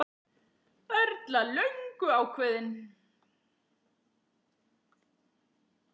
Erla: Löngu ákveðinn?